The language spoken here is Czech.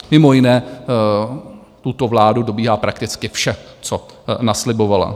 Mimo jiné tuto vládu dobíhá prakticky vše, co naslibovala.